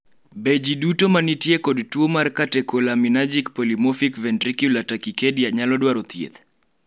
be jii duto ma nitie kod tuo mar Catecholaminergic polymorphic ventricular tachycardia nyalo dwaro thieth?